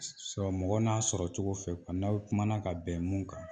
Sɔ sɔrɔ mɔgɔ n'a sɔrɔ cogo fɛ n'aw kumana ka bɛn mun kan